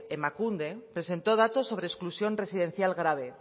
emakunde presentó datos sobre exclusión residencial grave